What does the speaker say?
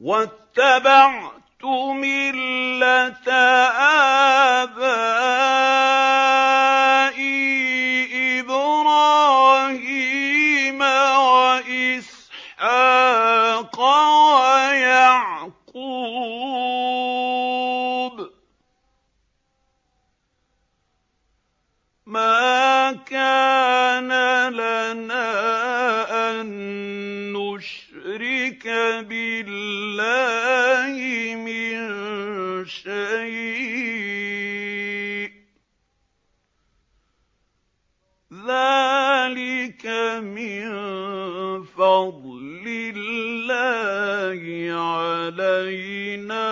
وَاتَّبَعْتُ مِلَّةَ آبَائِي إِبْرَاهِيمَ وَإِسْحَاقَ وَيَعْقُوبَ ۚ مَا كَانَ لَنَا أَن نُّشْرِكَ بِاللَّهِ مِن شَيْءٍ ۚ ذَٰلِكَ مِن فَضْلِ اللَّهِ عَلَيْنَا